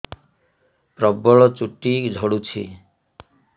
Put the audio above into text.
ପ୍ରବଳ ଚୁଟି ଝଡୁଛି